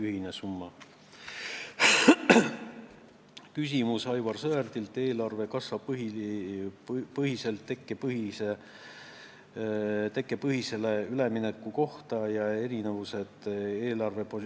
Aivar Sõerd küsis kassapõhiselt eelarvelt tekkepõhisele eelarvele ülemineku kohta ja eelarvepositsiooni arvutamise erinevuste kohta.